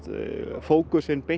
fókusinn beint